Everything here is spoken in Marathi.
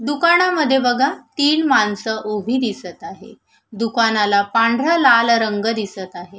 दुकानामध्ये बघा तीन माणस उभी दिसत आहे दुकानाला पांढरा लाल रंग दिसत आहे.